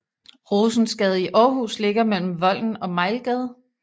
Rosensgade i Aarhus ligger mellem Volden og Mejlgade